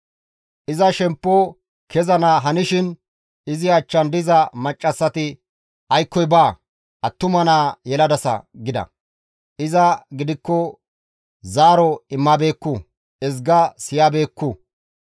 Iza shemppo kezana hanishin izi achchan diza maccassati, «Aykkoy ba; attuma naa yeladasa» gida; iza gidikko zaaro immabeekku; ezga siyabeekku.